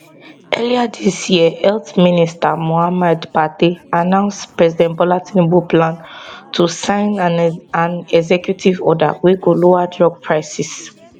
earlier dis year health minister muhammed pate announce president bola tinubu plan to sign an an executive order wey go lower drug prices